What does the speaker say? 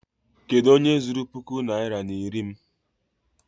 Kedụ onye zuru puku naịra na iri m?